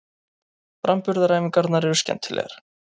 Framburðaræfingarnar eru skemmtilegar.